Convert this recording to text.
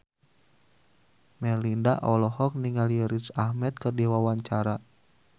Melinda olohok ningali Riz Ahmed keur diwawancara